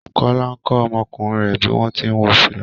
Kọla ń kọ́ ọmọkùnrin rẹ̀ bí wọ́n ti ń wọ fìlà